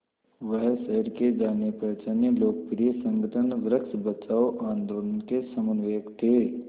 वह शहर के जानेपहचाने लोकप्रिय संगठन वृक्ष बचाओ आंदोलन के समन्वयक थे